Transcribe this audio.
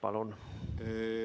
Palun!